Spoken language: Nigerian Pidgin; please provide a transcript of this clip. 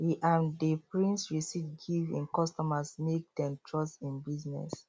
e um dey print receipt give him customers make dem trust him business